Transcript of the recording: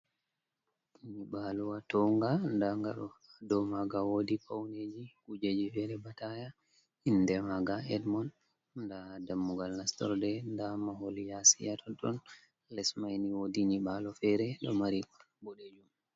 Nyiɓaalowa townga, ndaa nga ɗo, dow maaga woodi pawneji kujeji fere ba taaya, inde maaga edmond, ndaa dammugal nastorde, ndaa mahol yaasi ha tontton, les mai ni woodi nyiɓaalo fere ɗo mari boɗejum.